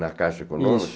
Na Caixa Econômica? Isso